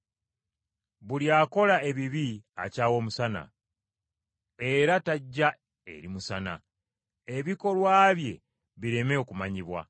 Buli akola ebibi akyawa Omusana era tajja eri musana, ebikolwa bye bireme okumanyibwa.